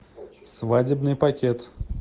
свадебный пакет